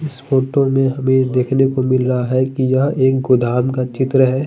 इस फोटो में हमे देखने को मिल रहा है की यह एक गोदाम का चित्र है।